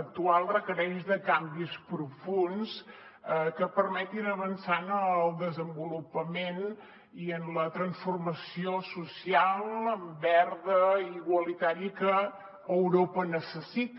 actual requereix canvis profunds que permetin avançar en el desenvolupament i en la transformació social verda i igualitària que europa necessita